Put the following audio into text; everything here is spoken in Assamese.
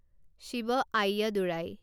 শিৱ আয়্যাদুৰাই